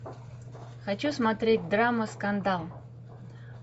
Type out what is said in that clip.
хочу смотреть драма скандал